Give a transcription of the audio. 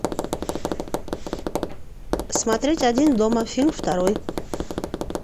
смотреть один дома фильм второй